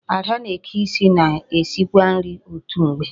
Ada na-eke isi na esikwa nri otu mgbe.